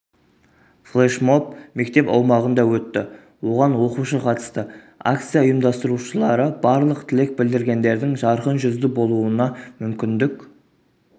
флешмоб мектеп аумағында өтті оған оқушы қатысты акция ұйымдастырушылары барлық тілек білдіргендердің жарқын жүзді болуына мүмкіндік